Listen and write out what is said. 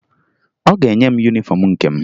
Ọ ga-enye m yunifọmụ nke m